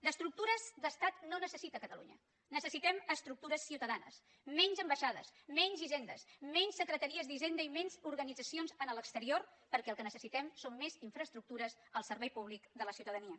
d’estructures d’estat no en necessita catalunya necessitem estructures ciutadanes menys ambaixades menys hisendes menys secretaries d’hisenda i menys organitzacions a l’exterior perquè el que necessitem són més infraestructures al servei públic de la ciutadania